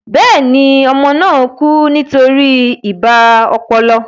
Bẹ́ẹ̀ni, ọmọ náà kú nítorí ibà ọpọlọ